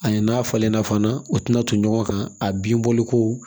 Ani n'a falenna fana o tɛna ton ɲɔgɔn kan a bin bɔli ko